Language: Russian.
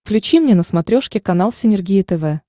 включи мне на смотрешке канал синергия тв